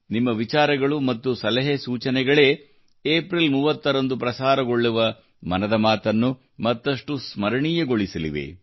ನಿಮ್ಮ ವಿಚಾರಗಳು ಮತ್ತು ಸಲಹೆ ಸೂಚನೆಗಳೇ ಏಪ್ರಿಲ್ 30 ರಂದು ಪ್ರಸಾರಗೊಳ್ಳುವ ಮನದ ಮಾತನ್ನು ಮತ್ತಷ್ಟು ಸ್ಮರಣೀಯಗೊಳಿಸಲಿವೆ